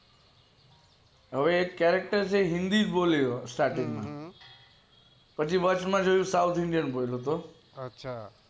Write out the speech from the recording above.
હવે એક character છે હિન્દી બોલે starting માં પછી વચમાં South Indian બોલે